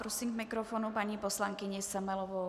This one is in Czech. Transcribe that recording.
Prosím k mikrofonu paní poslankyni Semelovou.